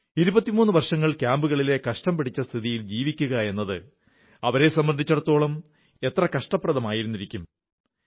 23 വർഷങ്ങൾ ക്യാമ്പുകളിലെ കഷ്ടം പിടിച്ച സ്ഥിതിയിൽ ജീവിക്കുകയെന്നത് അവരെ സംബന്ധിച്ചിടത്തോളം എത്ര കഷ്ടപ്രദമായിരുന്നിരിക്കും